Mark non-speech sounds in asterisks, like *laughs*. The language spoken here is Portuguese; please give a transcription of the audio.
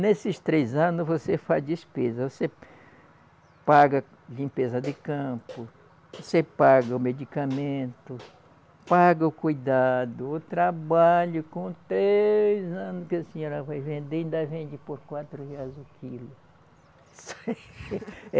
Nesses três anos você faz despesa, você paga limpeza de campo, você paga o medicamento, paga o cuidado, o trabalho com três anos que a senhora vai vender, ainda vende por quatro reais o quilo. *laughs*